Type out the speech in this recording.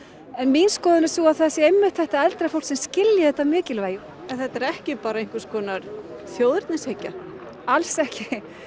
en mín skoðun er sú að það sé einmitt þetta eldra fólk sem skilji þetta mikilvægi en þetta er ekki bara einhvers konar þjóðernishyggja alls ekki